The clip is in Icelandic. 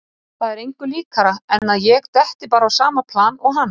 Það er engu líkara en að ég detti bara á sama plan og hann.